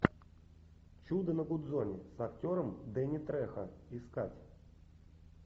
чудо на гудзоне с актером дэнни трехо искать